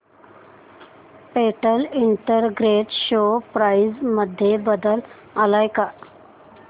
Patel integrated share price मध्ये बदल आलाय का